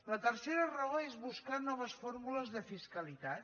la tercera raó és buscar noves formules de fiscalitat